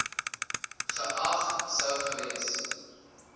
geag sou gewees